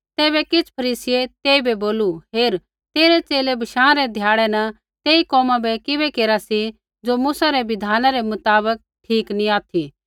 तैबै किछ़ फरीसियै तेइबै बोलू हेर तेरै च़ेले बशाँ रै ध्याड़ै न तेई कोमा बै किबै केरा सी ज़ो मूसा री बिधान रै मुताबक ठीक नी ऑथि